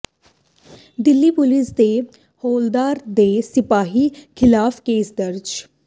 Delhi police ਦੇ ਹੌਲਦਾਰ ਤੇ ਸਿਪਾਹੀ ਖ਼ਿਲਾਫ਼ ਕੇਸ ਦਰਜ